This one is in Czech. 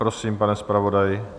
Prosím, pane zpravodaji.